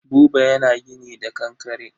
Buba yana gini da kankare.